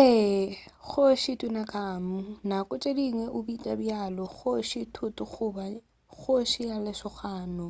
ee kgoši tutankhamun nako tše dingwe o bitšwa bjalo ka kgoši tut goba kgoši ya lesogana